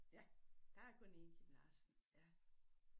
Ja der er kun 1 Kim Larsen ja